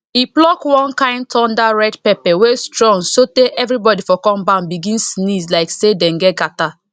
e pluck one kain thunder red pepper wey strong sotay everybody for compound begin sneeze like say dem get catarrh